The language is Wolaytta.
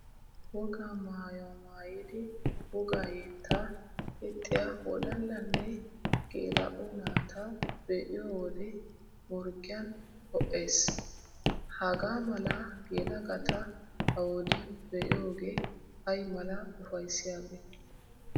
Wogaa maayuwa maayidi wogaa yettaa yexxiya wodallanne geela'o naata be'iyo wode morggiyan ho"ees! Hagaa mala yelagata ha wodiyan be'iyogee ay mala ufayssiyabee!